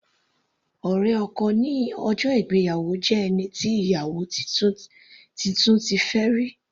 Ọ̀rẹ́ ọkọ ní ọjọ́ ìgbéyàwó jẹ́ ẹni tí ìyàwó titun ti fẹ́ rí.